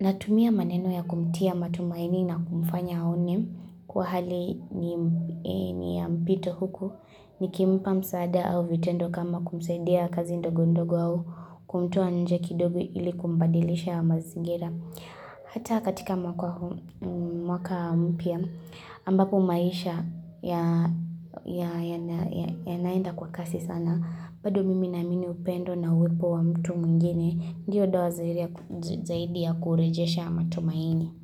Natumia maneno ya kumtia matumaini na kumfanya aone kuwa hali ni ya mpito huku. Nikimpa msaada au vitendo kama kumsaidia kazi ndogondogo au kumtoa nje kidogo ili kumbadilisha haya mazingira hata katika mwaka mpya ambapo maisha yanaenda kwa kasi sana bado mimi naamini upendo na uwepo wa mtu mwingine ndiyo doa zaidi ya kurejesha matumaini.